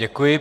Děkuji.